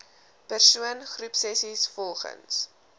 persoon groepsessies volgens